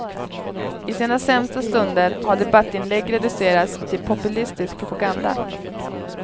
I sina sämsta stunder har debattinlägg reducerats till populistisk propaganda.